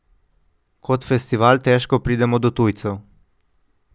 Kot festival težko pridemo do tujcev.